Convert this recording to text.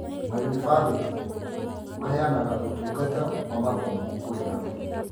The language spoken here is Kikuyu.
Maũnivathĩtĩ maheanaga ũtũngata wa mathomo kũrĩ andũ